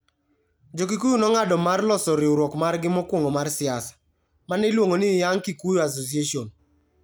Jo-Kikuyu nong'ado mar loso riwruok margi mokwongo mar siasa, ma ne iluongo ni Young Kikuyu Association.